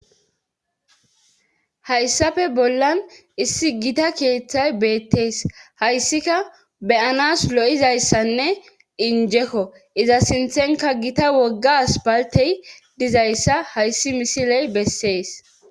Hayssafe bollan issi gita keeththay beettees hayssika beyanas lo'izayssanne injekko iza sinthenka gita woggas baltey dizayssa hayssi misiley bessees.